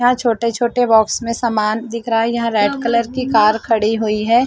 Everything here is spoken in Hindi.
यहां छोटे-छोटे बॉक्स में सामान दिख रहा है यहां रेड कलर की कार खड़ी हुई है।